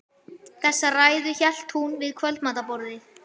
Þessa ræðu hélt hún við kvöldmatarborðið